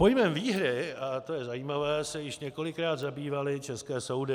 Pojmem výhry, a to je zajímavé, se již několikrát zabývaly české soudy.